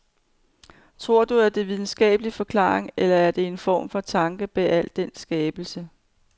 Tror du, at der er videnskabelige forklaringer, eller at der er en form for tanke bag al den skabelse?